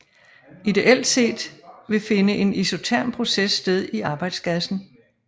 Ideelt set vil finde en isoterm proces sted i arbejdsgassen